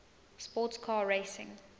sports car racing